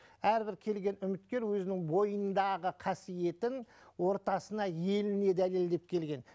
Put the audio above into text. әрбір келген үміткер өзінің бойындағы қасиетін ортасына еліне дәлелдеп келген